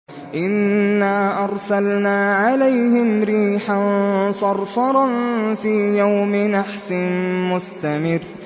إِنَّا أَرْسَلْنَا عَلَيْهِمْ رِيحًا صَرْصَرًا فِي يَوْمِ نَحْسٍ مُّسْتَمِرٍّ